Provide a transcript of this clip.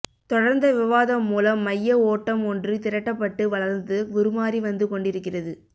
தொடர்ந்த விவாதம் மூலம் மையஓட்டம் ஒன்று திரட்டப்பட்டு வளர்ந்து உருமாறி வந்துகொண்டிருக்கிறது